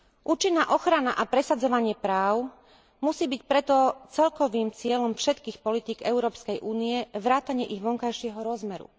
Účinná ochrana a presadzovanie práv musí byť preto celkovým cieľom všetkých politík Európskej únie vrátane ich vonkajšieho rozmeru.